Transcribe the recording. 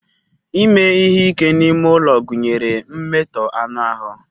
Ime ihe ike n'ime ulo gunyere mmeto anu ahu.